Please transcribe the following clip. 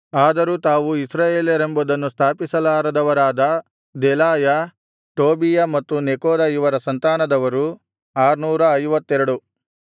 ಆದರೂ ತಾವು ಇಸ್ರಾಯೇಲರೆಂಬುದನ್ನು ಸ್ಥಾಪಿಸಿಲಾರದವರಾದ ದೆಲಾಯ ಟೋಬೀಯ ಮತ್ತು ನೆಕೋದ ಇವರ ಸಂತಾನದವರು 652